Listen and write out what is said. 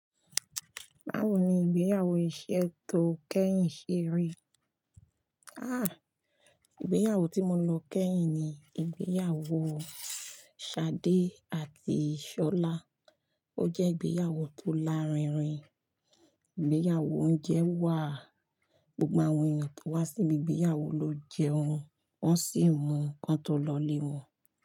Báwo ni ìgbéyàwó iṣẹ́ tó kẹ́yìn ṣe rí? Àh! Ìgbéyàwó tí mo lọ kẹ́yìn ni ìgbéyàwó Ṣadé àti Ṣọlá. Ó jẹ́ ìgbéyàwó tó lárinrin. Ìgbéyàwó oúnjẹ wà. Gbogbo àwọn ènìyàn tó wá síbi ìgbéyàwó ló jẹun. Wọ́n sì mú kan tó lọ lé wọ́n.